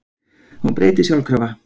Hún breytist sjálfkrafa.